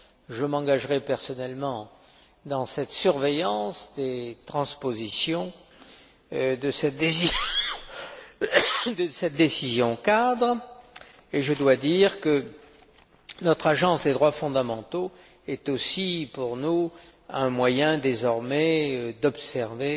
Je m'engagerai personnellement dans cette surveillance des transpositions de cette décision cadre, et je tiens à souligner que notre agence des droits fondamentaux est aussi pour nous un moyen, désormais, d'observer